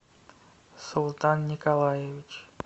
султан николаевич